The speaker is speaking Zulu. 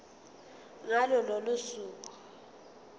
ngalo lolo suku